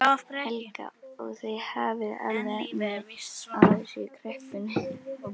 Helga: Og þið hafið alveg efni á þessu í kreppunni?